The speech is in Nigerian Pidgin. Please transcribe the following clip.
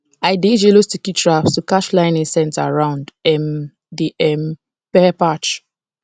i dey use yellow sticky traps to catch flying insects around um the um pepper patch